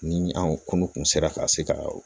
Ni anw kun sera ka se ka